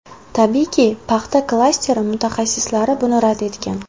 Tabiiyki, paxta klasteri mutaxassislari buni rad etgan.